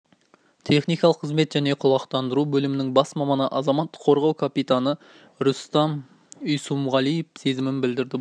техникалық қызмет және құлақтандыру бөлімінің бас маманы азаматтық қорғау капитаны рустам исұмғалиев сезімін білдірді бұл